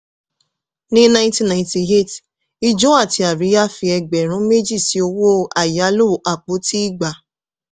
ní 1998 ìjọ àti àríyá fi ẹgbẹ̀rún méjì sí owó àyálò àpótí igba.